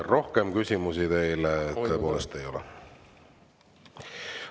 Rohkem küsimusi teile tõepoolest ei ole.